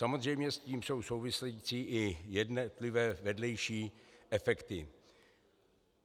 Samozřejmě s tím jsou související i jednotlivé vedlejší efekty.